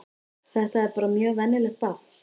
Þetta er bara mjög venjulegt barn.